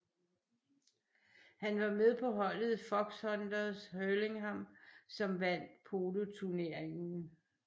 Han var med på holdet Foxhunters Hurlingham som vandt poloturneringen